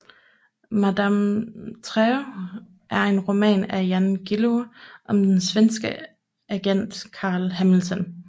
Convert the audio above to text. Madame Terror er en roman af Jan Guillou om den svenske agent Carl Hamilton